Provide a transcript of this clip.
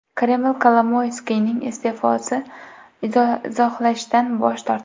Kreml Kolomoyskiyning iste’fosini izohlashdan bosh tortdi.